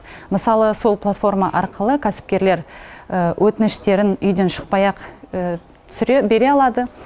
мысалы сол платформа арқылы кәсіпкерлер өтініштерін үйден шықпай ақ бере алады